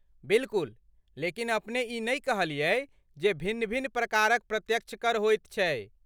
बिलकुल, लेकिन अपने ई नहि कहलियै जे भिन्न भिन्न प्रकारक प्रत्यक्ष कर होइत छै?